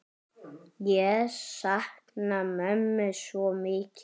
Ég sakna mömmu svo mikið.